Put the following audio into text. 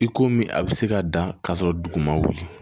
I komi a bɛ se ka dan ka sɔrɔ dugu ma wuli